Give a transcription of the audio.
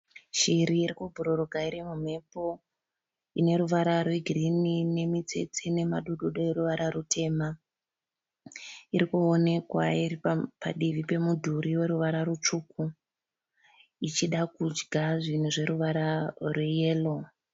Shiri iri kubhururuka iri mumhepo. Ine ruvara rwegirinhi nemitsetse nemadododo eruvara rutema. Iri kuonekwa iri padivi pemudhuri weruvara rutsvuku ichida kudya zvinhu zveruvara rweyero.